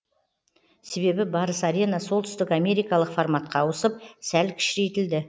себебі барыс арена солтүстік америкалық форматқа ауысып сәл кішірейтілді